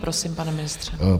Prosím, pane ministře.